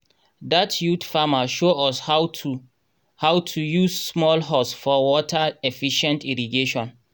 dat youth farmer show us how to how to use small hose for water-efficient irrigation